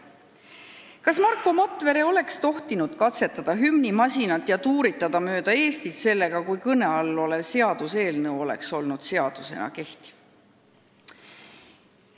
" Kas Marko Matvere oleks tohtinud katsetada hümnimasinat ja tuuritada sellega mööda Eestit, kui kõne all olev seaduseelnõu oleks olnud seadusena kehtiv?